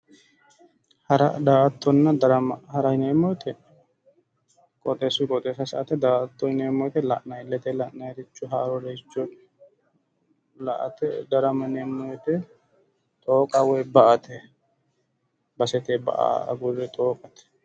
Hara daa"attona darama hara yineemmo woyiite qoxeessuyi qoxeessa sa"ate daa"atto yineemmo woyiite la'nayiiricho ia"ate darama yaa xooqa woyi ba"ate basete ba"a agurre xooqate